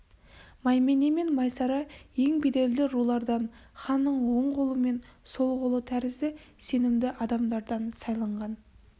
маймене мен майсара ең беделді рулардан ханның оң қолы мен сол қолы тәрізді сенімді адамдардан сайланған